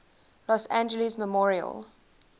los angeles memorial